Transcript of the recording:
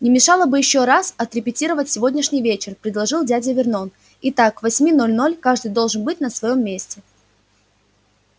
не мешало бы ещё раз отрепетировать сегодняшний вечер предложил дядя вернон итак к восьми ноль-ноль каждый должен быть на своём месте